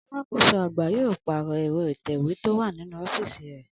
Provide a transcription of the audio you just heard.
Alákòóso àgbà yóò pàrò̩ è̩ro̩ ìtè̩wé tó wà nínú ó̩fíìsì rè̩